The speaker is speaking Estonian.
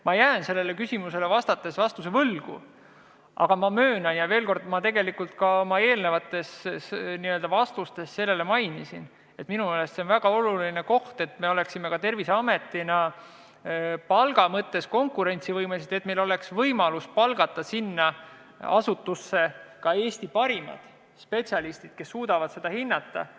Ma jään sellele küsimusele vastuse võlgu, aga möönan – tegelikult mainisin seda ka oma eelnevates vastustes –, et minu meelest on väga oluline, et oleksime Terviseametis ka palga mõttes konkurentsivõimelised ja et meil oleks võimalus palgata sinna asutusse Eesti parimaid spetsialiste, kes suudaksid neid olukordi hinnata.